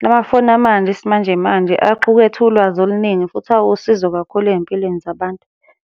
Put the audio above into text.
La mafoni amanje esimanje manje axukethe ulwazi oluningi futhi awusizo kakhulu ey'mpilweni zabantu.